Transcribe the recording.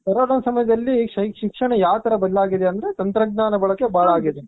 Corona ಸಮಯದಲ್ಲಿ ಶೈಕ್ಷ ಶಿಕ್ಷಣ ಯಾವ್ ತರ ಬದಲಾಗಿದೆ ಅಂದ್ರೆ, ತಂತ್ರಜ್ಞಾನ ಬಳಕೆ ಬಾಳ ಆಗಿದೆ.